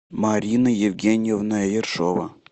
марина евгеньевна ершова